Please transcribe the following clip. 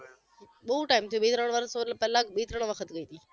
બવ time થઈ ગયો બે ત્રણ વરસ પેલા જ બે ત્રણ વખત જોઈ લીધો